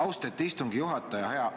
Austet istungi juhataja!